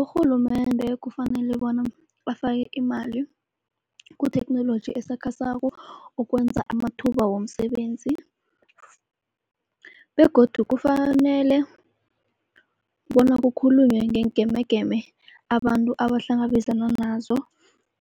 Urhulumende kufanele bona afake imali kuthekhnoloji esakhasako ukwenza amathuba womsebenzi. Begodu kufanele bona kukhulunywe ngeengemegeme abantu abahlangabezana nazo